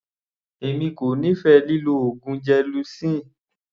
Èmi kò nífẹ̀ẹ́ lílọ oògùn gelocin.